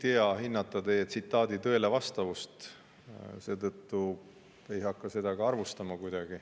Ei oska hinnata teie tsitaadi tõelevastavust, seetõttu ei hakka seda ka kuidagi arvustama.